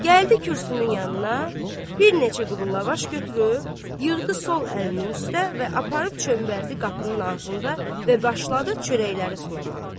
Gəldi kürsünün yanına, bir neçə quru lavaş götürüb, yığdı sol əlinin üstə və aparıb çöməldi qapının ağzında və başladı çörəkləri sulamağa.